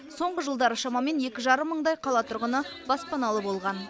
соңғы жылдары шамамен екі жарым мыңдай қала тұрғыны баспаналы болған